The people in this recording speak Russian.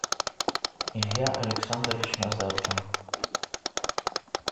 илья александрович назаркин